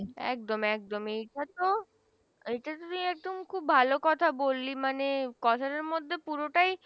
একদম একদম এই টা তো খুব ভালো কথা বললি মানে কথা টার মধ্যে পুরোটাই